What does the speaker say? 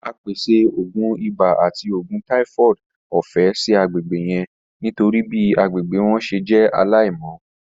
A pese oogun ibà ati oògùn typhoid ọfẹ si agbegbe yẹn nitori bi agbegbe wọn ṣe jẹ alaimọ.